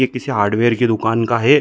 ये किसी हार्डवेयर की दुकान का हैं ।